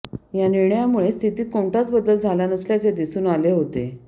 या निर्णयामुळे स्थितीत कोणताच बदल झाला नसल्याचे दिसून आले होते